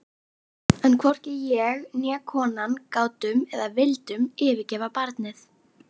En hvorki ég né konan gátum eða vildum yfirgefa barnið.